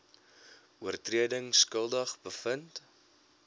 oortredings skuldig bevind